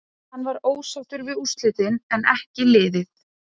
Hann var ósáttur við úrslitin en en ekki liðið.